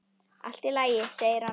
Allt í lagi, segir hann.